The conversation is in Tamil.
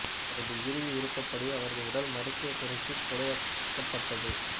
அவரது இறுதி விருப்பப்படி அவரது உடல் மருத்துவத் துறைக்குக் கொடையாக்கப்பட்டது